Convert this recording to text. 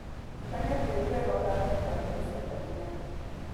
Tukania tĩrĩ wega ũtanekĩra mbegũ cia ndania.